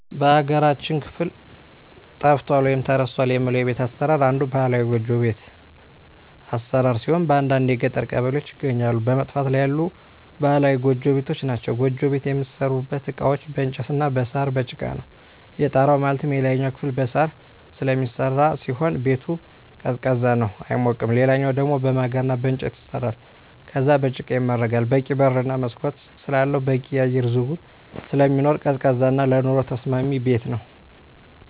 በሀገራችን ክፍል ጠፍቷል ወይም ተረስቷል የምለው የቤት አሰራር አንዱ ባህላዊ ጎጆ ቤት አሰራር ሲሆን በአንዳንድ የገጠር ቀበሌዎች ይገኛሉ በመጥፋት ላይ ያሉ ባህላዊ ጎጆ ቤቶች ናቸዉ። ጎጆ ቤት የሚሠሩበት እቃዎች በእንጨት እና በሳር፣ በጭቃ ነው። የጣራው ማለትም የላይኛው ክፍል በሳር ስለሚሰራ ሲሆን ቤቱ ቀዝቃዛ ነው አይሞቅም ሌላኛው ደሞ በማገር እና በእንጨት ይሰራል ከዛም በጭቃ ይመረጋል በቂ በር እና መስኮት ስላለው በቂ የአየር ዝውውር ስለሚኖር ቀዝቃዛ እና ለኑሮ ተስማሚ ቤት ነው።